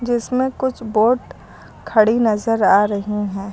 इसमें कुछ बोट खड़ी नजर आ रही हैं।